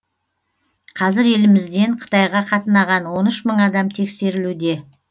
қазір елімізден қытайға қатынаған он үш мың адам тексерілуде